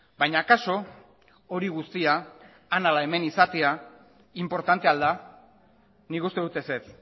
baina akaso hori guztia han ala hemen izatea inportantea al da nik uste dut ezetz